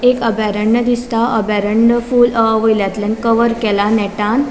एक अभयारण्य दिसता अभयारण्य फूल वयल्यातल्यान कवर केला नेटान .